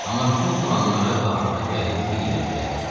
Amma bütün planları axırda gəlib bir yerə dirənirdi.